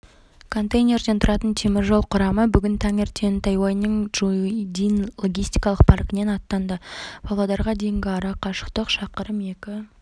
контейнерден тұратын теміржол құрамы бүгін таңертең тайюаньнің чжундин логистикалық паркінен аттанды павлодарға дейінгі ара-қашықтық шақырым екі